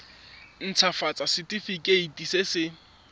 nt hafatsa setefikeiti se se